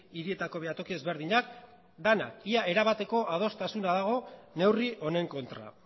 hirietako behatoki ezberdinak denak ia erabateko adostasuna dago neurri honen kontra